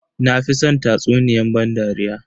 Na fi san tatsuniyan ban dariya.